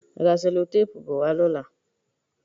Ra sẹ́lótéèpu bo wá lọ́la.